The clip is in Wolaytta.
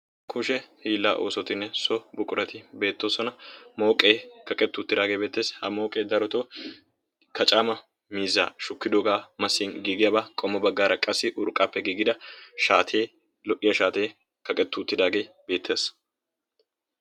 Kushe hiillaa oosotinne so buqurati beettoosona mooqee kaqettuuttidaagee beettees. ha mooqee daroto kacaama mizzaa shukkidoogaa masin giigiyaabaa qommo baggaara qassi urqqappe giigida shaatee lo"iya shaatee kaqetti uttidaagee beettees.